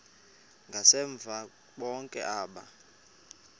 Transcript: ngasemva bonke aba